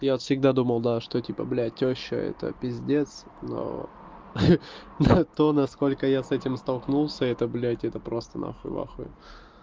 я вот всегда думал да что типа блять тёща это пиздец но хе хе то насколько я с этим столкнулся это блять это просто нахуй вахуй